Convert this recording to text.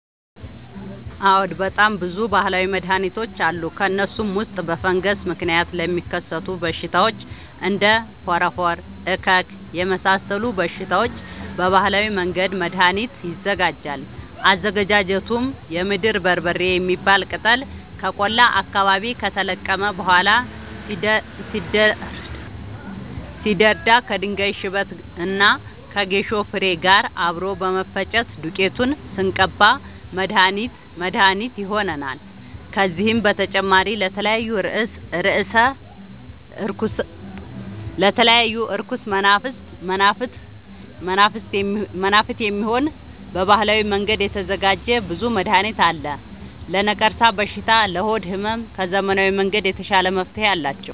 አዎድ በጣም ብዙ በሀላዊ መድሀኒቶች አሉ ከእነሱም ውስጥ በፈንገስ ምክንያት ለሚከሰቱ በሽታዎች እንደ ፎረፎር እከክ የመሳሰሉ በሽታዎች በባህላዊ መንገድ መድሀኒት ይዘጋጃል አዘገጃጀቱም የምድር በርበሬ የሚባል ቅጠል ከቆላ አካባቢ ከተለቀመ በኋላ ሲደርዳ ከድንጋይ ሽበት እና ከጌሾ ፋሬ ጋር አብሮ በመፈጨት ዱቄቱን ስንቀባ መድሀኒት መድሀኒት ይሆነናል። ከዚህም በተጨማሪ ለተለያዩ እርኩስ መናፍት፣ የሚሆን በባህላዊ መንገድ የተዘጋጀ ብዙ መድሀኒት አለ። ለነቀርሻ በሽታ ለሆድ ህመም ከዘመናዊ መንገድ የተሻለ መፍትሄ አላቸው።